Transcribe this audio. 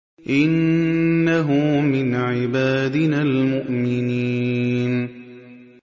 إِنَّهُ مِنْ عِبَادِنَا الْمُؤْمِنِينَ